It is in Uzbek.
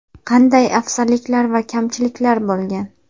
Qanday afzalliklar va kamchiliklar bo‘lgan?